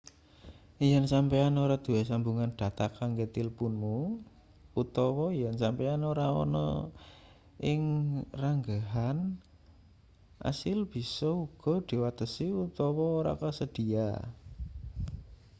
yen sampeyan ora duwe sambungan dhata kanggo tilpunmu utawa yen sampeyan ora ana ing ranggehan asil bisa uga diwatesi utawa ora kasedhiya